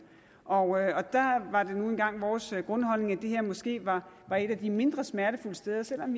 og der var det nu engang vores grundholdning at det her måske var et af de mindre smertefulde steder selv om